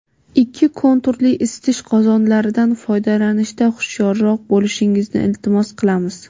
ikki konturli isitish qozonlaridan foydalanishda hushyorroq bo‘lishingizni iltimos qilamiz.